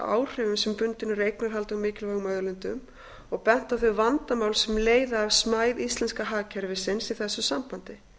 áhrifum sem bundin eru eignarhaldi á mikilvægum auðlindum og bent er á þau vandamál sem leiða af smæð íslenska hagkerfisins í þessu sambandi